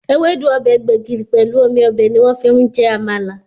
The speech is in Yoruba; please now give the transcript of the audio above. Ewédú, ọbẹ̀ gbẹ̀gìrì, pelu omi ọbẹ̀ ni wọ́n fi ń jẹ Àmàlà